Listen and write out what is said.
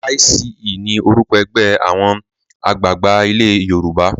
YCE ni orúkọ ẹgbẹ́ àwọn àgbààgbà ilé Yorùbá.